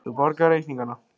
Þú borgar reikningana.